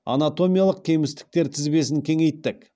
анатомиялық кемістіктер тізбесін кеңейттік